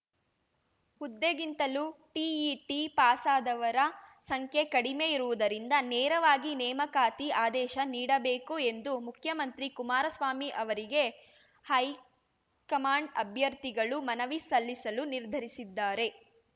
ಹುದ್ದೆಗಿಂತಲೂ TET ಪಾಸಾದವರ ಸಂಖ್ಯೆ ಕಡಿಮೆ ಇರುವುದರಿಂದ ನೇರವಾಗಿ ನೇಮಕಾತಿ ಆದೇಶ ನೀಡಬೇಕು ಎಂದು ಮುಖ್ಯಮಂತ್ರಿ ಕುಮಾರಸ್ವಾಮಿ ಅವರಿಗೆ ಹೈಕಮಾಂಡ್ ಅಭ್ಯರ್ಥಿಗಳು ಮನವಿ ಸಲ್ಲಿಸಲು ನಿರ್ಧರಿಸಿದ್ದಾರೆ